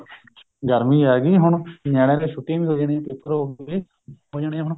ਗਰਮੀ ਆਗੀ ਹੁਣ ਨਿਆਣਿਆ ਦੀਆਂ ਛੁੱਟੀਆਂ ਵੀ ਹੋ ਜਾਣੀਆ paper ਹੋਗੇ ਹੋਜਾਨੀਆਂ ਹੁਣ